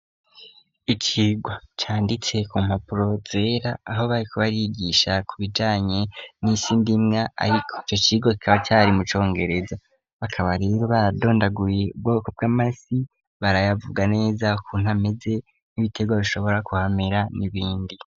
Ikigo canditse ku mpapuro zera aho bariko barigisha ku bijanye n'isi ndimwa ariko ico kigo kikaba cari mu congereza bakaba rero baradondaguye ubwoko bw'amase barayavuga neza ko ntameze n'ibitega bishobora kuhamera n'ibindi.